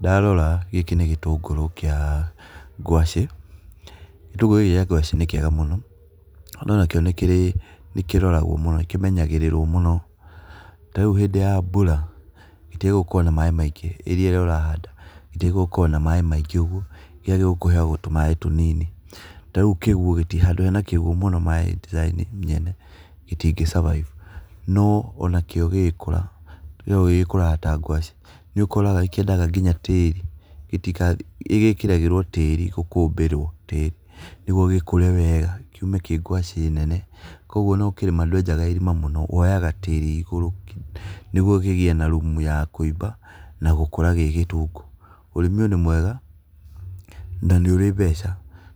Ndarora gĩkĩ nĩ gĩtũngũrũ kĩa ngwacĩ , gĩtũngũrũ gĩkĩ kĩa ngwacĩ nĩ kĩega mũno no nakĩo nĩkĩrĩ nĩkĩmenyagĩrĩrwo mũno tarĩũ hĩndĩ ya mbũra gĩtĩagĩrĩirwo gũkorwo na maĩ maingĩ rĩrĩa ũrahanda gĩtĩagĩrĩirwo gũkorwo na maĩ maingĩ ũgũo kĩagĩrĩire kũheo tũmaĩ tũnini tarĩ kũguũ handũ hena kũguũ mũno maĩ gĩtingĩ survive no onakĩo gĩgĩkũra kĩo gĩkũraga ta ngwacĩ nĩ ũkora nĩkĩendaga nginya tĩri gĩtĩga nĩgĩkĩragĩrwo tĩri gũkũmbĩrwo tĩri nĩgũo gĩkũre wega kiũme kĩ ngwacĩ nene kũogũo ona ũkĩrĩma ndwenjaga irima mũno woyaga tĩri igũrũ nĩgũo kĩgĩe na rumũ ya kũĩba nagũkũra gĩgĩtũngũ ũrĩmi ũyũ nĩ mwega na anĩũrĩ mbeca